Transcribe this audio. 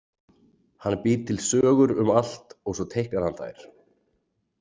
Hann býr til sögur um allt og svo teiknar hann þær.